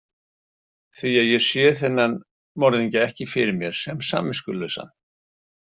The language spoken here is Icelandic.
Því að ég sé þennan morðingja ekki fyrir mér sem samviskulausan.